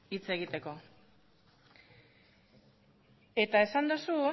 hitz egiteko eta esan duzu